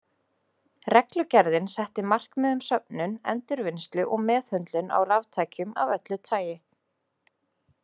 Reglugerðin setti markmið um söfnun, endurvinnslu og meðhöndlun á raftækjum af öllu tagi.